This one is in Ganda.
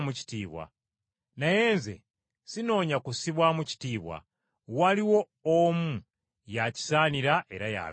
Naye Nze sinoonya kussibwamu kitiibwa, waliwo omu ye akisaanira era y’alamula.